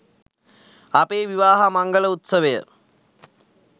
අපේ විවාහ මංගල උත්සවය